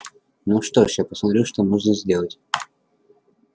ну что ж я посмотрю что можно сделать